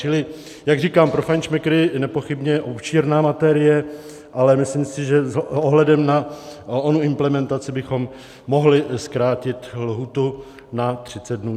Čili jak říkám, pro fajnšmekry nepochybně obšírná materie, ale myslím si, že s ohledem na onu implementaci bychom mohli zkrátit lhůtu na 30 dnů.